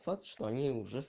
факт что они